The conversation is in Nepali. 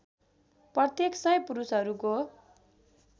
प्रत्येक १०० पुरुषहरूको